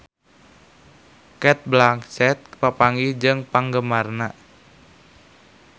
Cate Blanchett papanggih jeung penggemarna